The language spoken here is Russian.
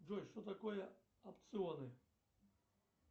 джой что такое опционы